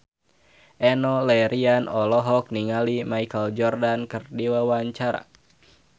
Enno Lerian olohok ningali Michael Jordan keur diwawancara